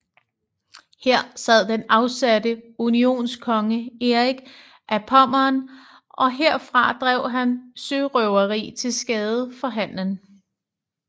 Her sad den afsatte unionskonge Erik af Pommern og herfra drev han sørøveri til skade for handelen